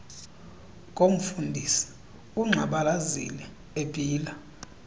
komfundisi ungxabalazile ebhila